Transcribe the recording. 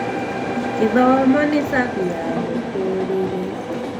gĩthomo nĩ cabi ya mũtũrire